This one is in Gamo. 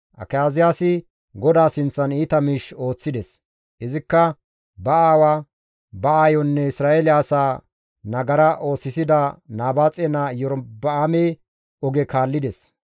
Akaziyaasi GODAA sinththan iita miish ooththides; izikka ba aawa, ba aayonne Isra7eele asaa nagara oosisida Nabaaxe naa Iyorba7aame oge kaallides.